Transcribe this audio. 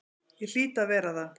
Ég hlýt að vera það.